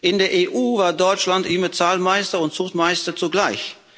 In der EU war Deutschland immer Zahlmeister und Zuchtmeister zugleich.